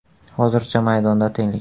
Hozircha maydonda tenglik.